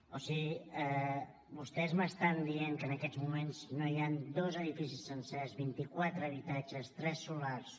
o sigui vostès m’estan dient que en aquests moments no hi han dos edificis sencers vint i quatre habitatges tres solars